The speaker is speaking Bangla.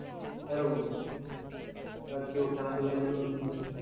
এরকম আবার কেউ খেলাধুলাই বিনোদন খোঁজে